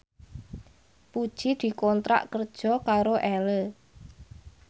Puji dikontrak kerja karo Elle